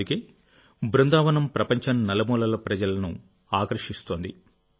అందుకే బృందావనం ప్రపంచం నలుమూలల ప్రజలను ఆకర్షిస్తోంది